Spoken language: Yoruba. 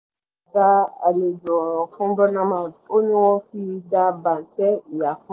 dá àlejò ọ̀ràn fún bournemouth ó ni wọ́n fi dá bàǹtẹ̀ ìyá fún